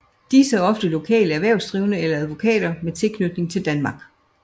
Disse er ofte lokale erhvervsdrivende eller advokater med tilknytning til Danmark